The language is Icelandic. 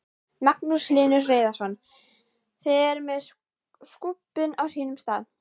Magnús Hlynur Hreiðarsson: Þið eruð með skúbbin á sínum stað?